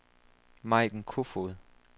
Maiken Koefoed